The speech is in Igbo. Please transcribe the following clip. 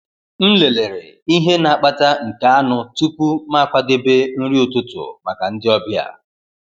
M lelere ihe na-akpata nke anụ tupu m akwadebe nri ụtụtụ maka ndị ọbịa.